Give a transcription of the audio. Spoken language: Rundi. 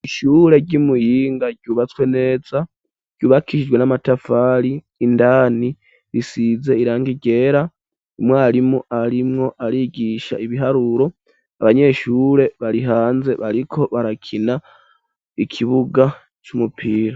Ishure ryi Muyinga ryubatswe neza ryubakishijwe n'amatafari indani risize irangi ryera umwarimu arimwo arigisha ibiharuro abanyeshure bari hanze bariko barakina ikibuga c'umupira.